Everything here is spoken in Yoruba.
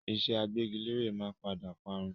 Ìṣe agbẹ́gilére máa padà parun